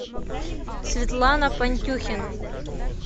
светлана пантюхина